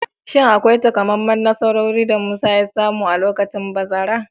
Shin akwai takamaiman nasarori da Musa ya samu a lokacin bazara?